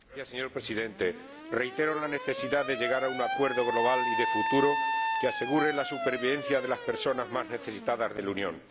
Señor Presidente, reitero la necesidad de llegar a un acuerdo global y de futuro que asegure la supervivencia de las personas más necesitadas de la Unión.